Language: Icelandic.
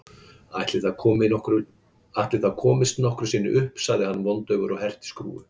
Ætli það komist nokkru sinni upp sagði hann vondaufur og herti skrúfu.